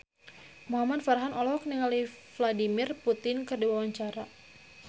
Muhamad Farhan olohok ningali Vladimir Putin keur diwawancara